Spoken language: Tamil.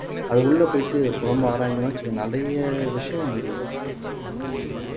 அது உள்ளே போயிட்டு ரொம்ப ஆராய்ஞ்சோம்னா வச்சுக்கங்க நிறைய விஷயம் வெளியே வரும்